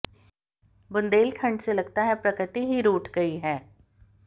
बुंदेलखंड से लगता है प्रकृति ही रूठ गई है